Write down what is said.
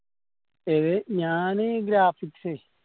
ഏത്? ഞാന് graphics